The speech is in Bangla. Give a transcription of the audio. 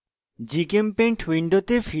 gchempaint window ফিরে যাই